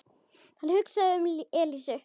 Hann hugsaði um Elísu.